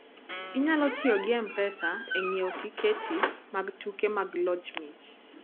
Inyalo tiyo gi M-Pesa e ng'iewo tiketi mag tuke mag loyo mich.